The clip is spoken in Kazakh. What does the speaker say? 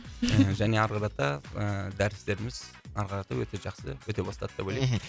және арықарата ыыы дәрістеріміз арқарата өте жақсы өте бастады деп ойлаймын мхм